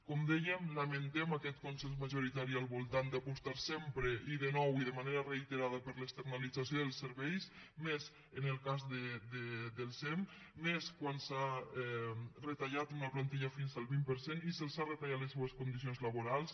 com dèiem lamentem aquest consens majoritari al voltant d’apostar sempre i de nou i de manera reiterada per l’externalització dels serveis més en el cas del sem més quan s’ha retallat una plantilla fins al vint per cent i se’ls han retallat les seues condicions laborals